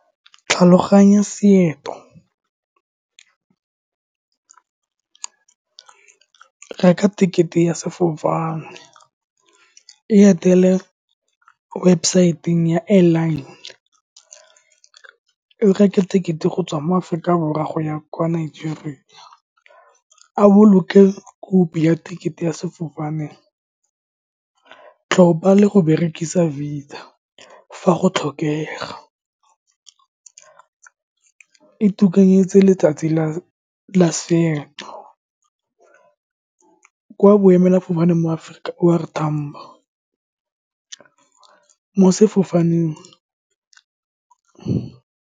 Tlhaloganya . Reka ticket-e ya sefofane, e etele website-eng ya airline, o reke ticket-e go tswa mo Aforika Borwa go ya kwa Nigeria. A boloke copy ya ticket-e ya sefofane, tlhopa le go berekisa visa fa go tlhokega letsatsi la , kwa boemela fofane mo Aforika, O R Tambo, mo sefofaneng .